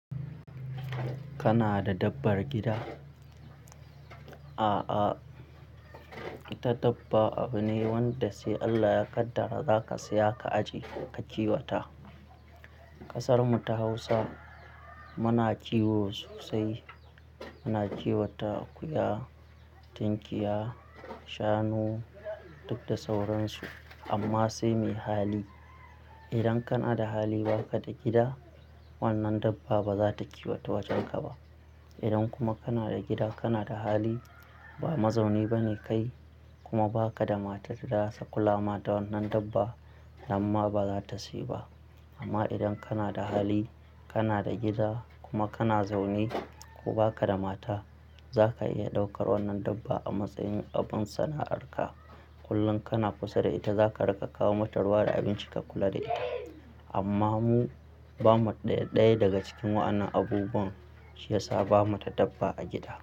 Kana da dabbar gida? A'a, ita dabba abu ne wanda sai Allah ya kaddara za ka saya ka ajiye ka kiwata. Kasarmu ta Hausa muna kiwo sosai. Muna kiwata akuya, tinkiya, shanu duk da sauransu amma sai mai hali. Idan kana da hali ba ka da gida, wannan dabba ba za ta kiwata wajenka ba. Idan kuma kana da gida kana da hali ba mazauni ba ne kai kuma ba ka da matar da za su kula ma da wannan dabba, namma ba za ta siyi ba. Amma idan kana da hali, kana da gida kuma kana zaune ko ba ka da mata, za ka iya ɗaukar wannan dabba a matsayin abin sana'arka. Kullum kana kusa da ita za ka riƙa kawo matarwa da abinci ka kula da ita. Amma mu ba mu ɗaya ɗaya daga cikin wa'annan abubuwan shi ya sa ba mu ta dabba a gida.